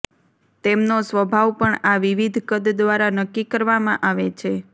તેમનો સ્વભાવ પણ આ વિવિધ કદ દ્વારા નક્કી કરવામાં આવે છે